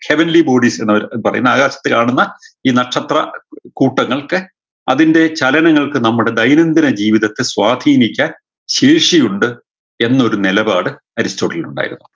heavenly bodies എന്ന് അവര് പറയുന്ന ആകാശത്ത് കാണുന്ന ഈ നക്ഷത്ര കൂട്ടങ്ങൾക്ക് അതിൻറെ ചലനങ്ങൾക്ക് നമ്മുടെ ദൈനംദിന ജീവിതത്തെ സ്വാധീനിക്കാൻ ശേഷിയുണ്ട് എന്നൊരു നെലപാട് അരിസ്റ്റോട്ടിലിന് ഉണ്ടായിരുന്നു